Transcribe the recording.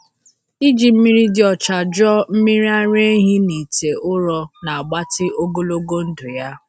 Iji mmiri dị ọcha jụọ mmiri ara ehi n’ite ụrọ na-agbatị ogologo ndụ ya.